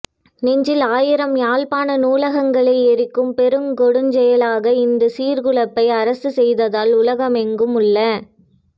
நெஞ்சில் ஆயிரம் யாழ்ப்பாண நூலகங்களை எரிக்கும் பெருங்கொடுஞ்செயலாக இந்த சீர்குலைப்பை அரசு செய்தால் உலகெங்கும் உள்ள